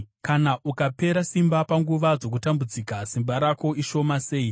Kana ukapera simba panguva dzokutambudzika, simba rako ishoma sei!